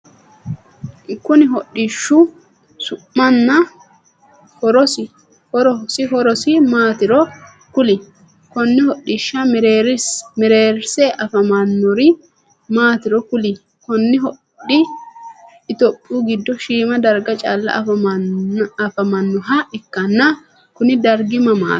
Konni hodhishu su'manna horosi horosi maataro kuli? Konne hodhisha mereerse afamanori maatiro kuli? Kunni hodhi itophiyu gido Shima darga calla afamanoha ikanna kunni dargi mamaati?